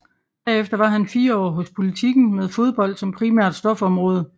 Derefter var han fire år hos Politiken med fodbold som primært stofområde